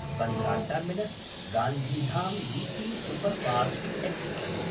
Bandra टर्मिनस्–गान्धीधाम् weekly superfast express